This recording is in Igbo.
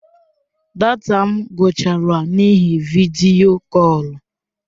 Data m agwụchaala n'ihi vidiyo kọl.